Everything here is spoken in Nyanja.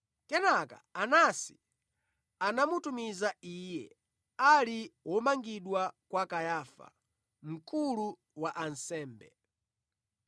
Kenaka Anasi anamutumiza Iye, ali womangidwabe, kwa Kayafa, mkulu wa ansembe.